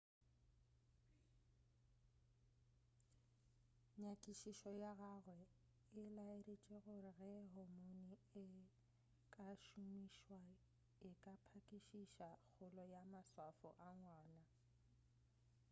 nyakišišo ya gagwe e laeditše gore ge hormone e ka šomišwa e ka phakišiša kgolo ya maswafo a ngwana